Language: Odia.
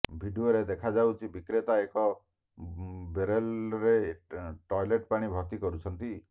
ଭିଡିଓରେ ଦେଖାଯାଉଛି ବିକ୍ରେତା ଏକ ବେରେଲରେ ଟଏଲେଟ୍ ପାଣି ଭର୍ତ୍ତି କରୁଛନ୍ତି